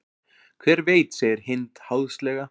Hver veit segir Hind háðslega.